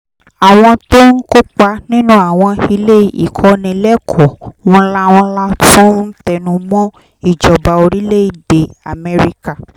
àwọn tó ń kópa nínú àwọn ilé ìkọ́nilẹ́kọ̀ọ́ ńláńlá tún ń tẹnu mọ́ ìjọba orílẹ̀-èdè amẹ́ríkà